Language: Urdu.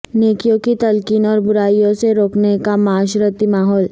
نیکیوں کی تلقین اور برائیوں سے روکنے کا معاشرتی ماحول